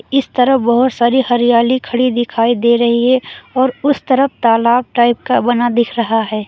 इस तरफ बहोत सारी हरियाली खड़ी दिखाई दे रही है और उस तरफ तालाब टाइप का बना दिख रहा है।